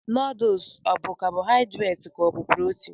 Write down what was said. Noodles obụ carbohydrates ka ọ bụ protein?